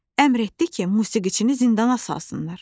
Əmr etdi ki, musiqiçini zindana salsınlar.